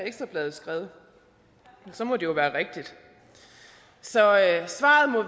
ekstra bladet skrevet og så må det jo være rigtigt så svaret må